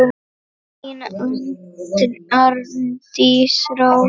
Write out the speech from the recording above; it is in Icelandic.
Þín, Arndís Rós.